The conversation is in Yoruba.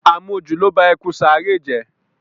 Àmojù ló ba ẹkùn Sàáré jẹ́.